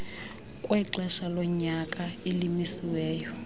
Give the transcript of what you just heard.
kwexesha lonyaka elimisiweyo